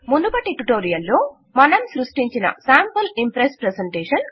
మునుపటి ట్యుటోరియల్ లో మనం సృష్టించిన స్యాంపుల్ ఇంప్రెస్స్ ప్రెజెంటేషన్